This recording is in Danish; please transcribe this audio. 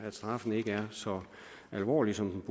at straffen ikke er så alvorlig som